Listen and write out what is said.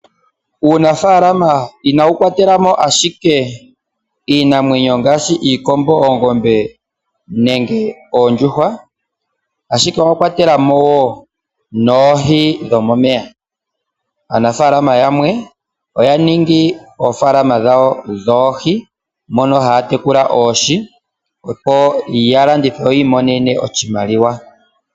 Uunafaalama inawu kwatelamo ashike iinamwenyo ngaashi iikombo, oongombe nenge oondjuhwa, ashike owa kwatelamo woo noohi dhomomeya. Aanafaalama yamwe oya ningi oofaalama dhawo dhoohi mono haya tekula oohi opo ya landithe yo yi imonene oshimaliwa.